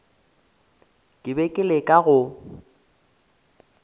ke be ke leka go